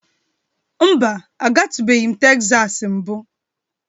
Mba, agatubeghi m Tesas mbụ.